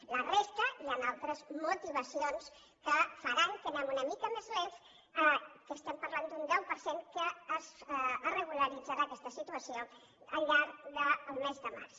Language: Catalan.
en la resta hi han altres motivacions que faran que anem una mica més lents que estem parlant d’un deu per cent en què es regularitzarà aquesta situació al llarg del mes de març